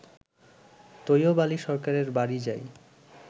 তৈয়ব আলী সরকারের বাড়ি যাই